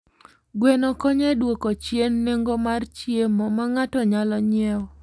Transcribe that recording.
Gweno konyo e dwoko chien nengo mar chiemo ma ng'ato nyalo nyiewo.